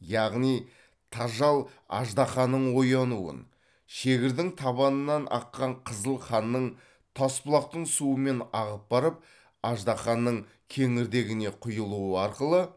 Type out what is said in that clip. яғни тажал аждаһаның оянуын шегірдің табанынан аққан қызыл қанның тасбұлақтың суымен ағып барып аждаһаның кеңірдегіне құйылуы арқылы